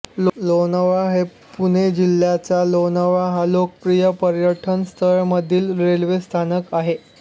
लोणावळा हे पुणे जिल्ह्याच्या लोणावळा ह्या लोकप्रिय पर्यटनस्थळामधील रेल्वे स्थानक आहे